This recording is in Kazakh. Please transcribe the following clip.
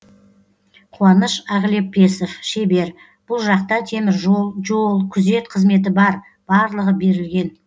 қуаныш ағлепесов шебер бұл жақта теміржол жол күзет қызметі бар барлығы берілген